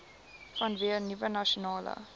vanweë nuwe nasionale